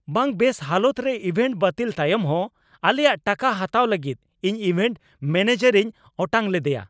ᱵᱟᱝ ᱵᱮᱥ ᱦᱟᱞᱚᱛ ᱨᱮ ᱤᱵᱷᱮᱱᱴ ᱵᱟᱹᱛᱤᱞ ᱛᱟᱭᱚᱢ ᱦᱚᱸ ᱟᱞᱮᱭᱟᱜ ᱴᱟᱠᱟ ᱦᱟᱛᱟᱣ ᱞᱟᱹᱜᱤᱫ ᱤᱧ ᱤᱵᱷᱮᱱᱴ ᱢᱮᱱᱮᱡᱟᱨᱤᱧ ᱚᱴᱟᱝ ᱞᱮᱫᱮᱭᱟ ᱾